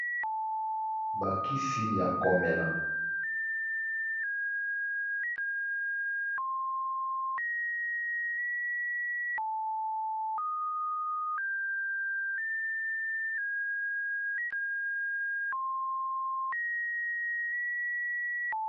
Ba kisi ya komela.